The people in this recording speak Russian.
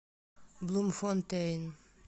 блумфонтейн